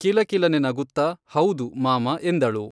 ಕಿಲಕಿಲನೆ ನಗುತ್ತ ಹೌದು, ಮಾಮ ಎಂದಳು.